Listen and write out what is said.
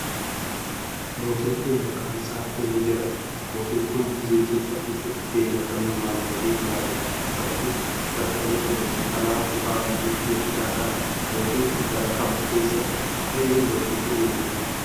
Mootiin kun, maqaan isaa eenyu jedhama? Mootin kun, biyya Itopphiyaa keessatti gahee akkamii waan baheef yaadatama? Bakki dhaloota mootii kanaa ,kutaa biyya Itoophiyaa kami? Mootin kun, bara kam keessa ka'ee mootii ta'ee muudame?